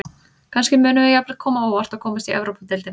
Kannski munum við jafnvel koma á óvart og komast í Evrópudeildina.